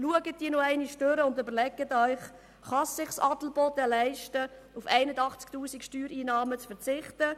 Schauen Sie sich diese nochmals an und überlegen Sie sich beispielsweise, ob Adelboden es sich leisten kann, auf Steuereinnahmen von 81 000 Franken zu verzichten.